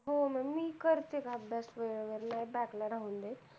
हो मी करते ग अभ्यास वेळेवर नाही back ला राहून देत